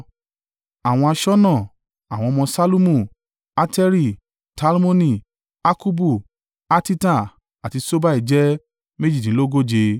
Àwọn aṣọ́nà: àwọn ọmọ Ṣallumu, Ateri, Talmoni, Akkubu, Hatita, àti Ṣobai jẹ́ méjìdínlógóje (138).